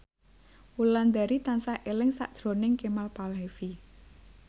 Wulandari tansah eling sakjroning Kemal Palevi